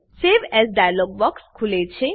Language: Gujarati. સવે એએસ ડાઈલોગ બોક્ક્ષ ખુલે છે